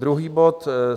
Druhý bod.